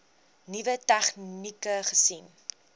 nuwe tegnieke gesien